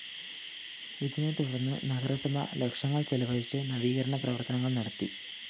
ഇതിനെ തുടര്‍ന്ന് നഗരസഭ ലക്ഷങ്ങള്‍ ചിലവഴിച്ച് നവീകരണ പ്രവര്‍ത്തനങ്ങള്‍ നടത്തി